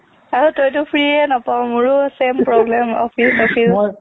আৰু তইতো free য়েই নাপাও মোৰো same problem office office